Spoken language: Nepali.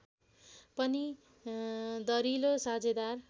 पनि दरिलो साझेदार